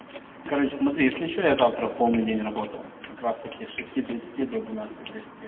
короче смотри если что я завтра в полный день работаю как раз-таки с шести тридцати до двенадцати тридцати